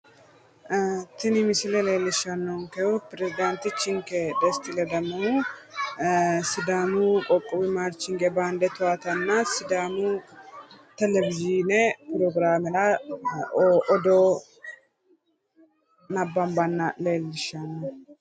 Tini misiele leellishshanonkehu pirezidantichinke Desti ledamohu, sidaamu qoqqowu maarshingebaande towaatanna sidaamu televizhiine progiraamera odoo nabbanbanna leelishshanno.